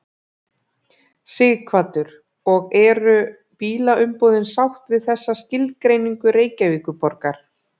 Sighvatur: Og eru bílaumboðin sátt við þessa skilgreiningu Reykjavíkurborgar?